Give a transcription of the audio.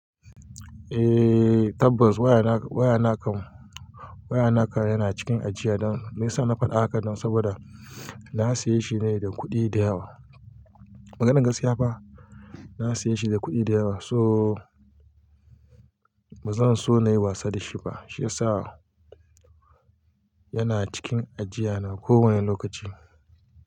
Eh, tabbas waya na kam, waya na kam, waya na kam yana cikin ajiya don yasa na faɗa haka don saboda na saye shi ne da kuɗi da yawa. Maganar gaskiya fa, na saye shi da kuɗi da yawa so bazan so nayi wasa da shi ba. Shi yasa yana cikin ajiya na kowane lokaci.